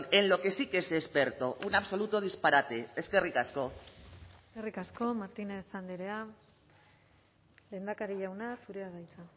en lo que sí que es experto un absoluto disparate eskerrik asko eskerrik asko martínez andrea lehendakari jauna zurea da hitza